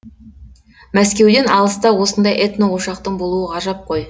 мәскеуден алыста осындай этно ошақтың болуы ғажап қой